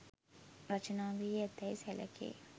රචනා වී ඇතැයි සැලකේ.